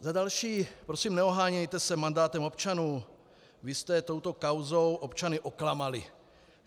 Za další - prosím, neohánějte se mandátem občanů, vy jste touto kauzou občany oklamali.